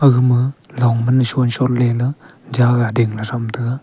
gama longman shon-shon leyla jaga dingley thram taiga.